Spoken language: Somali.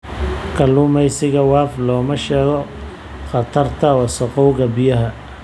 Kalluumeysiga Wav looma sheego khatarta wasakhowga biyaha.